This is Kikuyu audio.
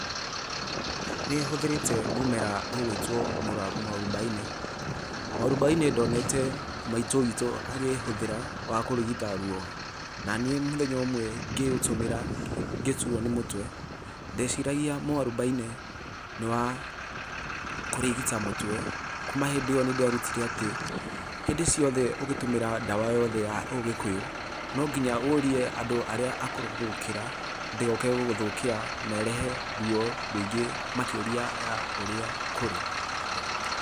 Nĩ hũthĩrĩte mũmera ũgwĩtwo mũarubaine. Mũarubaine ndonete maitũ witũ akĩhũthĩra na kũrigita rũo. Na niĩ mũtenya ũmwe ngĩũtumĩra ngĩturwo nĩ mũtwe, ndeciragia mũarubaine nĩ wa kũrigita mũtwe kuma hĩndĩ ĩo nĩ nderutire atĩ, hĩndĩ ciothe ũkĩtũmĩra ndawa yothe ya ũgĩkũyũ, no nginya ũurie andũ arĩa akũrũ gũgũkĩra, ndĩgoke gũgũthũkia na ĩrehe rũo rũingĩ makĩria ya ũrĩa kũrĩ.